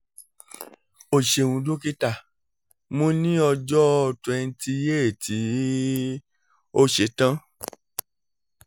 o ṣeun dokita mo ni ọjọ twenty eight ti o ṣetan